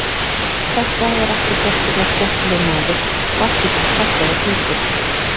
Þetta er ekki sérstaklega skemmtilegur maður og ekki par fallegur heldur.